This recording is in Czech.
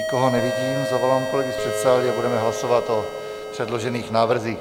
Nikoho nevidím, zavolám kolegy z předsálí a budeme hlasovat o předložených návrzích.